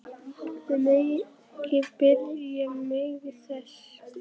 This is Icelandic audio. Þið megið ekki biðja mig þess!